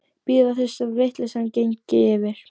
Bíða þess að vitleysan gengi yfir.